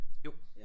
Jo